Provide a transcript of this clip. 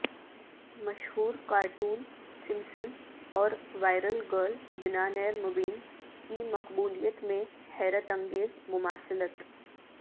مشہورکارٹون Simpson اوروائر ل girl دنانیرمبین کی مقبولیت میں حیرت انگیز مماثلت